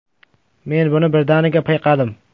Men buni birdaniga payqadim.